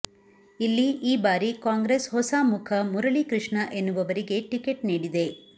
ಇಲ್ಲಿ ಈ ಬಾರಿ ಕಾಂಗ್ರೆಸ್ ಹೊಸ ಮುಖ ಮುರಳಿಕೃಷ್ಣ ಎನ್ನುವವರಿಗೆ ಟಿಕೆಟ್ ನೀಡಿದೆ